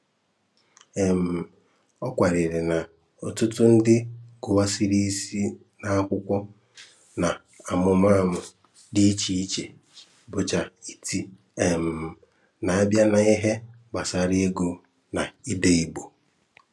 um Ọ kwàrárìrị na ọ̀tụ̀tụ̀ ndị gụ̀wàrà isi n’akwùkwó n’ámùmàmụ̀ dị iche iche bụ̀chá ítí, um nā-abịa n’íhè gbasàrà ị̀gụ na ídé Ìgbò.